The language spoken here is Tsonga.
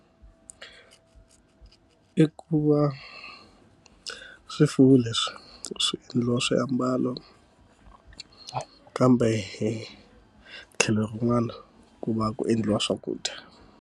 I ku va swifuwo leswi swi endliwa swiambalo, kambe hi tlhelo rin'wana ku va ku endliwa swakudya.